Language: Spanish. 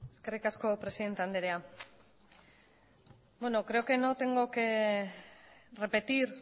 eskerrik asko presidente andrea bueno creo que no tengo que repetir